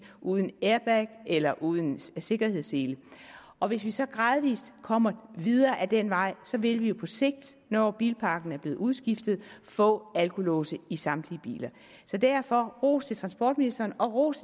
uden airbag eller uden sikkerhedssele og hvis vi så gradvis kommer videre ad den vej vil vi jo på sigt når bilparken er blevet udskiftet få alkolåse i samtlige biler derfor ros til transportministeren og ros